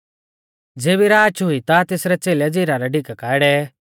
ज़ेबी राच हुई ता तेसरै च़ेलै झ़िला रै डिका काऐ डेवै